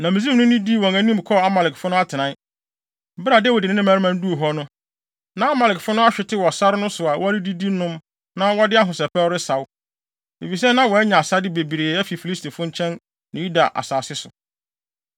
Na Misraimni no dii wɔn anim kɔɔ Amalekfo no atenae. Bere a Dawid ne ne mmarima no duu hɔ no, na Amalekfo no ahwete wɔ sare no so a wɔredidi nom na wɔde ahosɛpɛw resaw, efisɛ na wɔanya asade bebree afi Filistifo nkyɛn ne Yuda asase so.